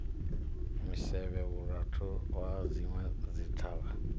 misevhe vhura na zwinwe zwithavhani